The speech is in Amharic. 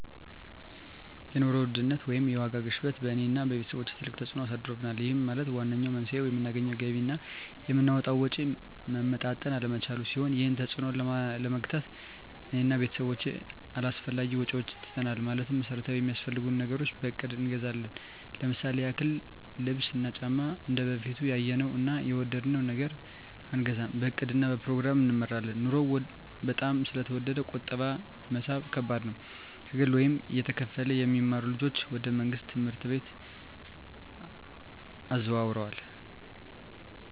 የኑሮ ውድነት ወይም የዋጋ ግሽበት በእኔ እና በቤተሰቦቸ ትልቅ ተፅእኖ አሳድሮብናል ይህም ማለት ዋነኛው መንስኤው የምናገኘው ገቢ እና የምናወጣው ወጪ መመጣጠን አለመቻሉን ሲሆን ይህንን ተፅዕኖ ለመግታት እኔ እና ቤተሰቦቸ አላስፈላጊ ወጪዎችን ትተናል ማለትም መሠረታዊ ሚያስፈልጉንን ነገሮች በእቅድ እንገዛለን ለምሳሌ ያክል ልብስ እና ጫማ እንደበፊቱ ያየነውን እና የወደድነውን ነገር አንገዛም በእቅድ እና በፕሮግራም እንመራለን ኑሮው በጣም ስለተወደደ ቁጠባ መሣብ ከባድ ነው። ከግል ወይም እየተከፈለ የሚማሩ ልጆችን ወደ መንግሥት ትምህርት ቤቶች አዘዋውረናል።